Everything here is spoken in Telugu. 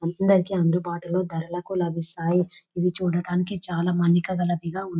అందరికీ అందుబాటులోని ధరలకు లభిస్తాయి. ఇవి చూడడానికి చాలామాన్నికా గలవి కా ఉం --